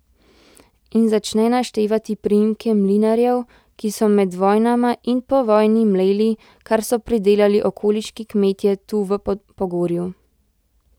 In začne naštevati priimke mlinarjev, ki so med vojnama in po vojni mleli, kar so pridelali okoliški kmetje tu v Pogorju.